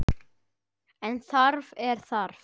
En það er þarft.